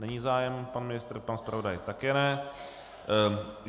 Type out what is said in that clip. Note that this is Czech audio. Není zájem, pan ministr, pan zpravodaj také ne.